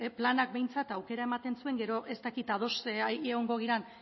planak behintzat aukera ematen zuen gero ez dakit ados ea egongo garen